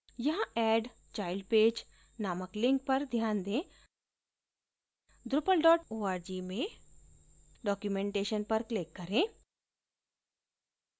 यहाँ add child page named link पर ध्यान दें drupal org में documentation पर click करें